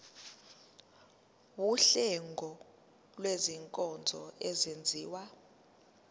wuhlengo lwezinkonzo ezenziwa